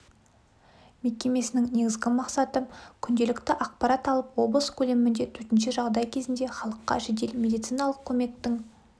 мекемесінің негізгі мақсаты күнделікті ақпарат алып облыс көлемінде төтенше жағдай кезінде халыққа жедел медициналық көмектің